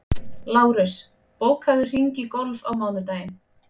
Lárus, bókaðu hring í golf á mánudaginn.